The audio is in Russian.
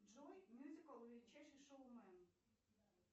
джой мюзикл величайший шоумен